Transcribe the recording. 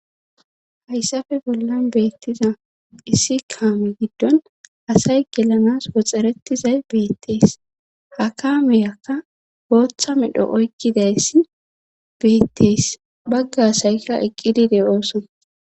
hayssafe bollan beettiza issi kaame giddon asay gelanas woxxerettizay beettees ha kaameyakka booththa medho oykkidayssi beettees bagga asaykka eqqidide ooson